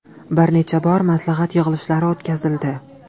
Bir necha bor maslahat yig‘ilishlari o‘tkazildi.